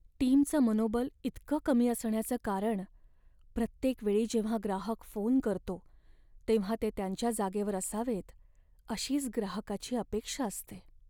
टीमचं मनोबल इतकं कमी असण्याचं कारण प्रत्येक वेळी जेव्हा ग्राहक फोन करतो तेव्हा ते त्यांच्या जागेवर असावेत अशीच ग्राहकाची अपेक्षा असते.